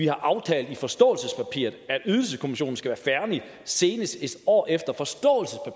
har aftalt i forståelsespapiret at ydelseskommissionen skal være færdig senest en år efter